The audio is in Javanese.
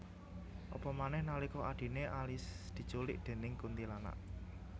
Apa manèh nalika adhiné Alice diculik déning kuntilanak